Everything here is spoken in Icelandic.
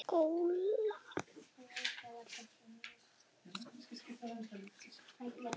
Langar ekkert í skóla.